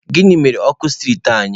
Gịnị mere ọkụ striiti anyị?